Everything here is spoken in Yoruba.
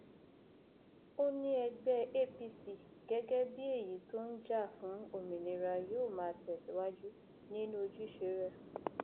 ó ní ẹgbẹ apc gẹgẹ bíi èyí tó ń jà fún òmìnira yóò máa tẹsíwájú nínú ojúṣe rẹ